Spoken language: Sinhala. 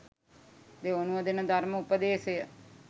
දෙවනුව දෙන ධර්ම උපදේශය